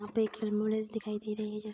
वहाँ पे एक एम्बुलेंस दिखाई दे रही है जिस --